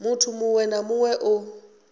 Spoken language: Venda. muthu muṅwe na muṅwe o